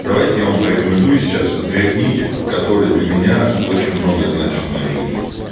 давайте я вам порекомендую сейчас две книги которые для меня очень много значат в моей жизни